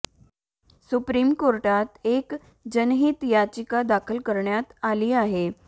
supreme कोर्टात एक जनहीत याचिका दाखल करण्यात आली आहे